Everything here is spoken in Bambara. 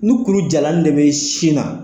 Ni kuru jalan ni de bɛ sin na